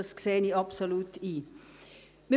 Das sehe ich absolut ein.